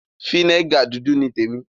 Fínégà dúdú ni témi.